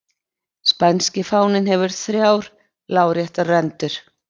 spænski fáninn hefur þrjár láréttar rendur